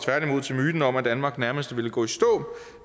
til myten om at danmark nærmest ville gå i stå